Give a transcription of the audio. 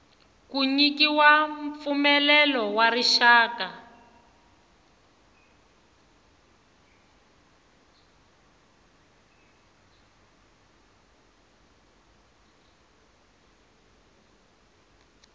ku nyikiwa mpfumelelo wa rixaka